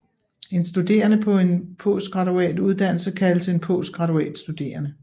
En studerende på en postgraduat uddannelse kaldes en postgraduatstuderende